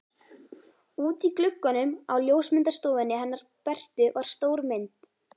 Úti í glugganum á ljósmyndastofunni hennar Bertu var stór mynd.